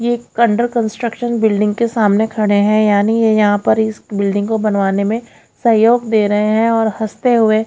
ये एक under construction building के सामने खडे हैं यानि ये यहां पर इस बिल्डिंग को बनवाने में सहयोग दे रहे हैं और हस्ते हुए--